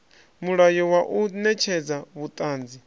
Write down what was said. mulayo wa u netshedza vhuṱanzi